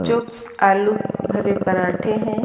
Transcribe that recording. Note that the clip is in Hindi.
जो आलू भरे पराठे हैं।